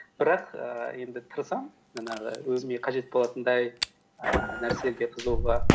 бірақ ііі енді тырысамын жаңағы өзіме қажет болатындай ііі нәрселерге қызығуға